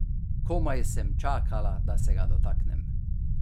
Komaj sem čakala, da se ga dotaknem.